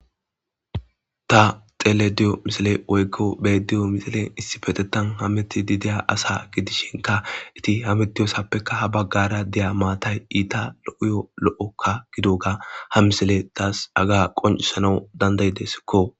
Ta xelediyo misile woy'ko beediyo misilen issi petetan hameti dideya asa gidishinka iti ha mitiyosappekka ha baggara deya maatay iita lo'oyo lo'okka gidoga ha misile taas aga qoncisanau dandayidesikko